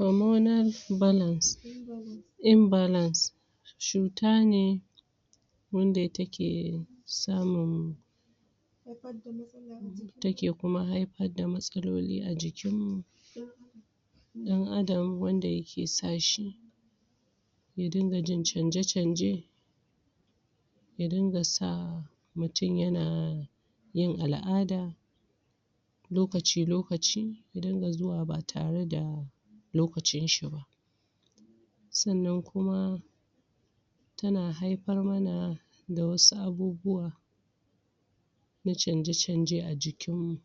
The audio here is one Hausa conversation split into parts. Hormonals imbalance imbalance cuta ne wanda take samun take kuma haifar da matsaloli a jikinmu ɗan'adam wanda yake sa shi ya dinga jin canje-canje ya dinga sa mutum yana yin al'ada lokaci-lokaci ya dinga zuwa ba tare da lokacinshi ba. sannan kuma sannan kuma tana haifar man da waɗansu abubuwa na canje-canje a jikinmu.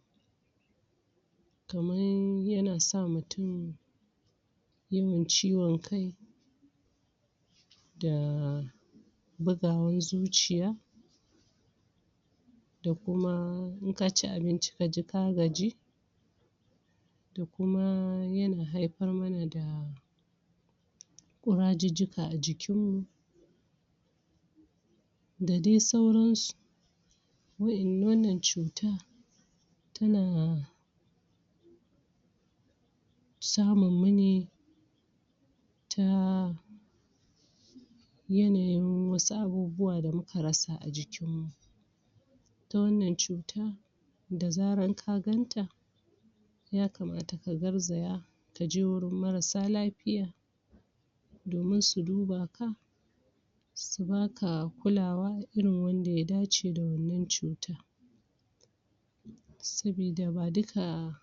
kamar yana sa mutum yawan ciwon kai da bugawan zuciya da kuma in ka ci abinci ka ji ka gaji da kuma yana haifar mana da ƙurajujjuka a jikinmu. da dai sauransu. wannan cuta, ta na samun mu ne ta yanayin waɗansu abubuwa da muka rasa a jikinmu. ita wannan cuta da zaran ka ganta ya kamata ka garzaya ka je wajen mararsa lafiya domin su duba ka su ba ka kulawa irin wanda ya dace da mai wannan cuta. sabida ba duka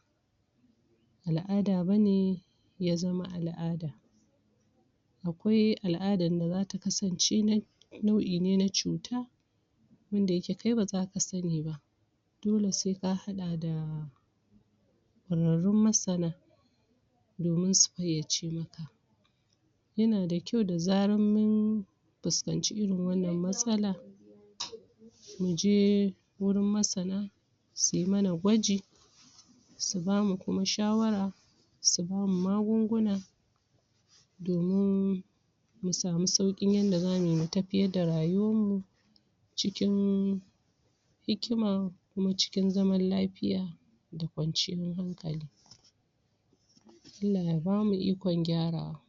al'ada ba ne ya zama al'ada akwai al'adan da za ta kasance nau'i ne na cuta wanda yake kai ba za ka sani ba. dole sai ka haɗa da dabarun masana domin su fayyace ma. yana da kyau da zaran mun fuskanci irin wannan matsala, mu je wurin masana su yi mana gwaji su ba mu kuma shawara su ba mu magunguna, domin mu samu sauƙin yanda za mu yi mu tafiyar da rayuwarmu. cikin hikima kuma cikin zaman lafiya da kwanciyar hankali Allah ya ba mu ikon gyarawa.